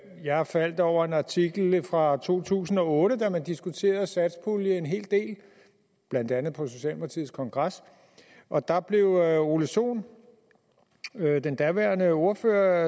jeg faldt over en artikel fra to tusind og otte da man diskuterede satspuljen en hel del blandt andet på socialdemokratiets kongres og der blev herre ole sohn den daværende ordfører